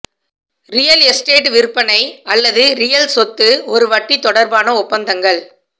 real estate விற்பனை அல்லது real சொத்து ஒரு வட்டி தொடர்பான ஒப்பந்தங்கள்